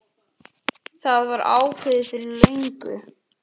Það var ákveðið fyrir löngu.